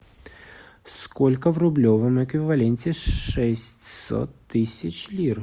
сколько в рублевом эквиваленте шестьсот тысяч лир